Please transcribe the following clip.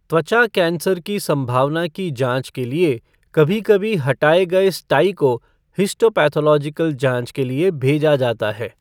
त्वचा कैंसर की संभावना की जाँच के लिए कभी कभी हटाए गए स्टाई को हिस्टोपैथोलॉजिकल जाँच के लिए भेजा जाता है।